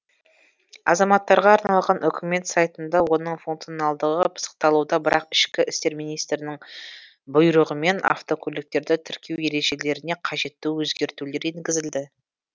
азаматтарға арналған үкімет сайтында оның функционалдығы пысықталуда бірақ ішкі істер министрінің бұйрығымен автокөліктерді тіркеу ережелеріне қажетті өзгертулер енгізілді